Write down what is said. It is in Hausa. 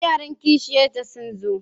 Yaran kishiyar ta sun zo.